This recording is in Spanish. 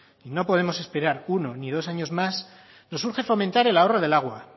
y no podemos esperar uno ni dos años más nos urge fomentar el ahorro del agua